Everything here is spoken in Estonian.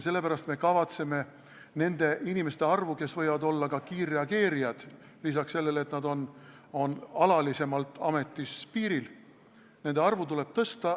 Sellepärast me kavatseme suurendada nende inimeste arvu, kes võivad olla ka kiirreageerijad, lisaks sellele, et nad on alalisemalt ametis piiril.